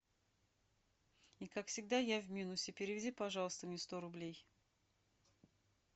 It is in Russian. и как всегда я в минусе переведи пожалуйста мне сто рублей